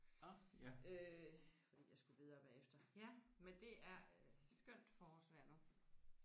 Og øh fordi jeg skulle videre bagefter ja men det er skønt forårsvejr nu